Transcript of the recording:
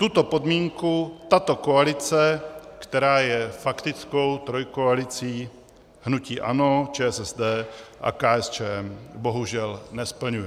Tuto podmínku tato koalice, která je faktickou trojkoalicí hnutí ANO, ČSSD a KSČM, bohužel nesplňuje.